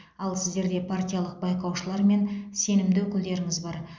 ал сіздерде партиялық байқаушылар мен сенімді өкілдеріңіз бар